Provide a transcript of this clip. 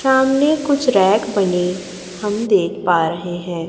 सामने कुछ रैक बने हम देख पा रहे हैं।